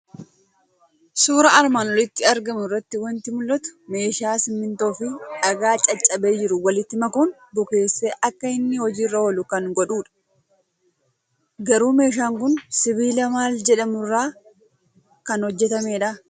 Suuraa armaan olitti argamu irraa waanti mul'atu; meeshaa simmintoofi dhagaa caccabee jiru walitti makuun bukeessee akka inni hojiirra oolu kan godhudha. Garuu meeshaan kun sibiila maal jedhamu irraa kan hojjettamudhaa?